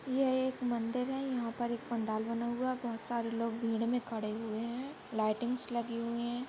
ये एक मंदिर है यहाँ पर एक पंडाल बना हुआ है और बहुत सारे लोग भीड मे खडे हुए है लायटिंग्स लगी हुई है।